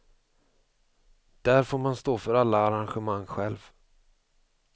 Där får man stå för alla arrangemang själv.